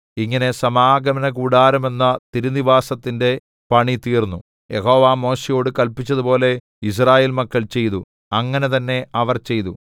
ഇങ്ങനെ സമാഗമനകൂടാരമെന്ന തിരുനിവാസത്തിന്റെ പണി തീർന്നു യഹോവ മോശെയോട് കല്പിച്ചതുപോലെ യിസ്രായേൽ മക്കൾ ചെയ്തു അങ്ങനെ തന്നെ അവർ ചെയ്തു